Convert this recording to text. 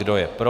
Kdo je pro?